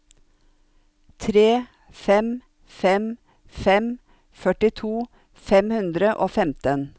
tre fem fem fem førtito fem hundre og femten